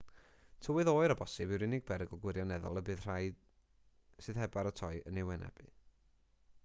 tywydd oer o bosibl yw'r unig berygl gwirioneddol y bydd y rhai sydd heb baratoi yn ei wynebu